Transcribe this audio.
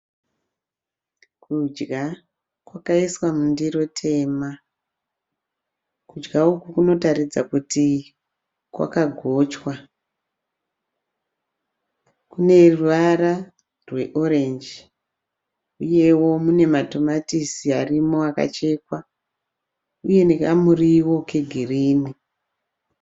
Kudya kwakaiswa mundiro tema, kudya uku kunotaridza kuti kwakagochwa kune ruvara rweorenji uyewo mune matomatisi arimo akachekwa uye nekamuriwo kegirini.